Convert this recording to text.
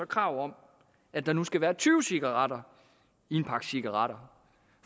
krav om at der nu skal være tyve cigaretter i en pakke cigaretter